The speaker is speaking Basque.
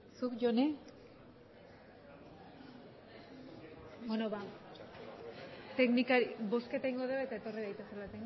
zuk jone beno ba bozketa egingo degu eta etorri daitezela